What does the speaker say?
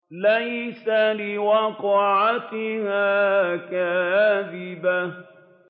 لَيْسَ لِوَقْعَتِهَا كَاذِبَةٌ